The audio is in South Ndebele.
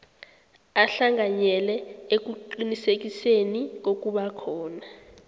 ahlanganyele ekuqinisekiseni kokubakhona